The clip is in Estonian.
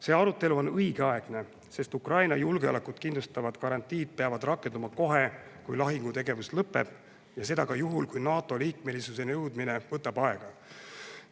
See arutelu on õigeaegne, sest Ukraina julgeolekut kindlustavad garantiid peavad rakenduma kohe, kui lahingutegevus lõpeb, ja seda ka juhul, kui NATO liikmelisuseni jõudmine võtab aega.